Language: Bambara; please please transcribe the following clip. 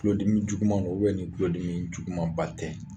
Tulodimi juguman do ni tulodimi jugumanba tɛ.